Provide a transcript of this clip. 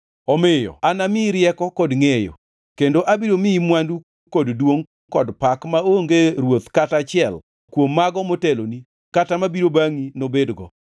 omiyo anamiyi rieko kod ngʼeyo. Kendo abiro miyi mwandu kod duongʼ kod pak maonge ruoth kata achiel kuom mago moteloni kata mabiro bangʼi nobedgo.”